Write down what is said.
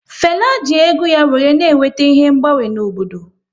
Fela ji egwu ya wéré na eweta ihe mgbanwe n'obodo